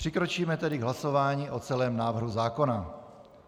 Přikročíme tedy k hlasování o celém návrhu zákona.